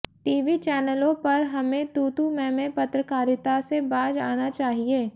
TV चैनलों पर हमें तूतू मैंमैं पत्रकारिता से बाज़ आना चाहिए